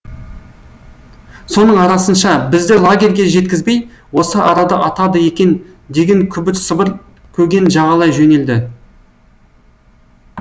соның арасынша бізді лагерге жеткізбей осы арада атады екен деген күбір сыбыр көген жағалай жөнелді